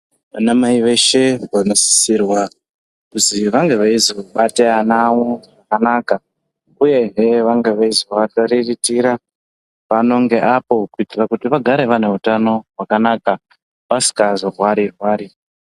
Vana mai veshe vano sisirwa kuzi vange veizo bate ana avo zvakanaka uyehe vange veizo variritira pano nge apo kuitira kuti vagare vane utano hwakanaka vasingazo rwari rwari.